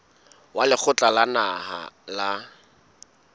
wa lekgotla la naha la